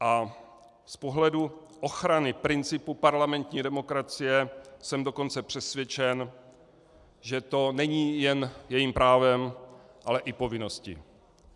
A z pohledu ochrany principu parlamentní demokracie jsem dokonce přesvědčen, že to není jen jejím právem, ale i povinností.